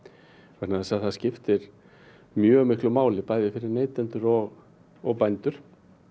vegna þess að það skiptir mjög miklu máli bæði fyrir neytendur og og bændur